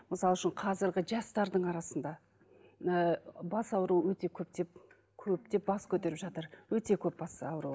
мысал үшін қазіргі жастардың арасында ы бас ауруы өте көптеп көптеп бас көтеріп жатыр өте көп бас ауруы